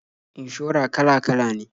Inshora kala-kala ne.